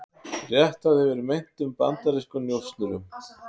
Réttað yfir meintum bandarískum njósnurum